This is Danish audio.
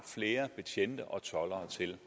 flere betjente og toldere til